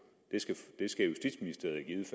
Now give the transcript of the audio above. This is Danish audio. det skal justitsministeriet